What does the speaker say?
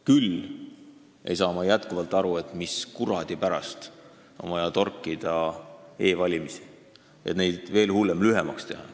Küll ei saa ma jätkuvalt aru, mis kuradi pärast on vaja torkida e-valimisi, ja veel hullem, nende aega lühemaks teha.